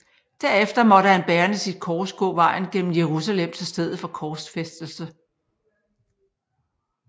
Derefter måtte han bærende sit kors gå vejen gennem Jerusalem til stedet for korsfæstelse